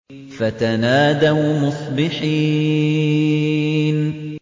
فَتَنَادَوْا مُصْبِحِينَ